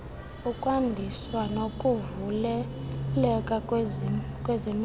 ukwandiswa kokuvuleleka kwezemidlalo